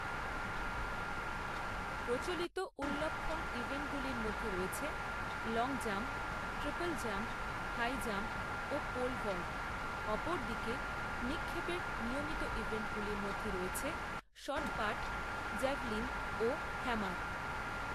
প্রচলিত উল্লম্ফন ইভেন্টগুলির মধ্যে রয়েছে long jump, triple jump, high jump, ও পোল ভল্ট, অপরদিকে নিক্ষেপের নিয়মিত ইভেন্টগুলির মধ্যে রয়েছে শট পাট, জ্যাভেলিন ও হ্যামার।